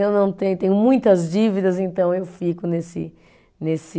Eu não tenho, tenho muitas dívidas, então eu fico nesse, nesse.